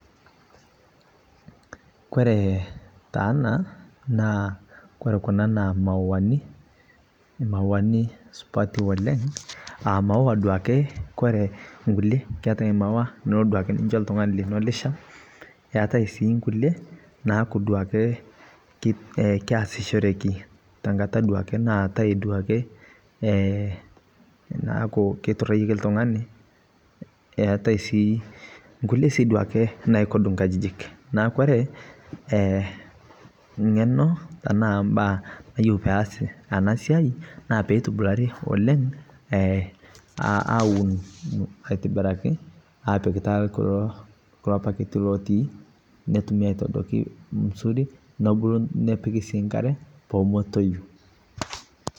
kore taa ana naa kore kuna naa mauwani, mauwani supati oleng a maua duake kore nkulie keatai maua nilo duake ninsho ltungani lino lisham eatai sii nkulie naaku duake keasichoreki tankata duake naatai duake naaku keiturayieki ltungani eatai sii nkulie sii duake naikod nkajijik naa kore ngeno ana mbaa neyeu peasi anaa siai naa peitubulari oleng awun aitibiraki apik taa kulo paketi lotii notumii aitodokii muzuri nobolu nepiki sii nkare pemetoyu